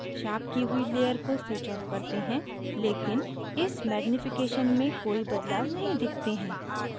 sharpen की हुई layer को switch off करते हैं लेकिन इस magnification में कोई बदलाव नहीं दिखते हैं